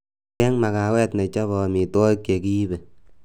cheng' magawet nechope omitwogik chegiibe